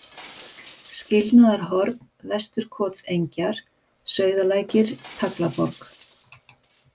Skilnaðarhorn, Vesturkotsengjar, Sauðalækir, Taglaborg